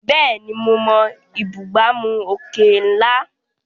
Bẹ́ẹ̀ni, mo mọ ìbúgbàmù òkè ńlá.